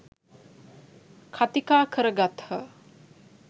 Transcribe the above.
කථිකා කර ගත්හ.